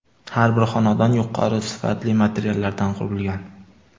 Har bir xonadon yuqori sifatli materiallardan qurilgan.